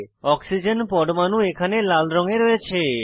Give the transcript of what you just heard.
oxygen পরমাণু এখানে লাল রঙে রয়েছে